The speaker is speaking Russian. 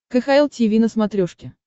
кхл тиви на смотрешке